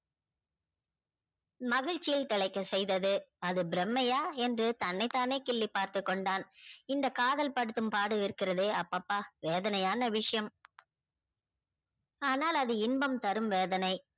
மகிழ்ச்சியை தழைக்க செய்தது அது பிரம்மையா என்று தன்னை தானே கில்லி பார்த்து கொண்டான் இந்த காதல் படுத்தும் பாடு இருகிறதே அப்பப்பா வேதனையான விஷயம ஆனால் அது இன்பம் தரும் வேதனை